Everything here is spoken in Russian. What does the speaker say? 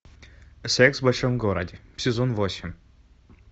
секс в большом городе сезон восемь